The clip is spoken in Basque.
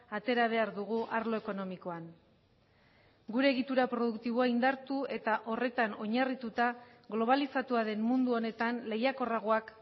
atera behar dugu arlo ekonomikoan gure egitura produktiboa indartu eta horretan oinarrituta globalizatua den mundu honetan lehiakorragoak